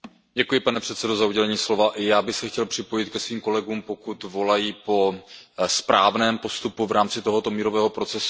Pane předsedající, i já bych se chtěl připojit ke svým kolegům, pokud volají po správném postupu v rámci tohoto mírového procesu.